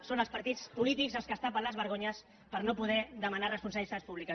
són els partits polítics els que es tapen les vergonyes per no poder demanar responsabilitats públiques